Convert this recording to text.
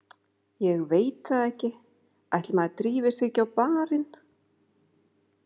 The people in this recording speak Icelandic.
Ég veit það ekki, ætli maður drífi sig ekki á barinn.